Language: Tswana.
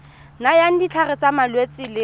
nayang ditlhare tsa malwetse le